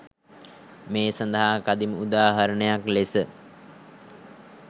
මේ සඳහා කදිම උදාහරණයක් ලෙස